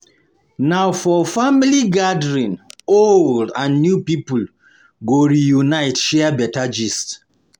Na for family event old and young people go reunite share better gist.